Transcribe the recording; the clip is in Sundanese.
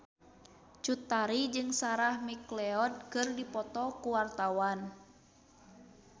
Cut Tari jeung Sarah McLeod keur dipoto ku wartawan